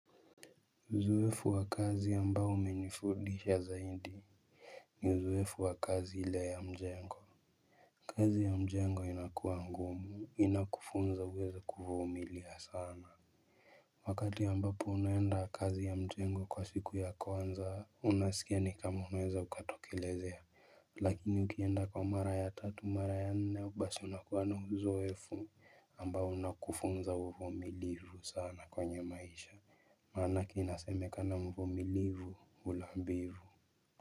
Uzoefu wa kazi ambao umenifundisha zaidi. Ni uzoefu wa kazi ile ya mjengo. Kazi ya mjengo inakuwa ngumu inakufunza uwezo wa kuvumilia sana. Wakati ambapo unaenda kazi ya mjengo kwa siku ya kwanza unasikia ni kama unaweza ukatokelezea. Lakini ukienda kwa mara ya tatu mara ya nne basi unakuwa na uzoefu ambao unakufunza uvumilivu sana kwenye maisha. Maanake inasemekana mvumilivu hula mbivu.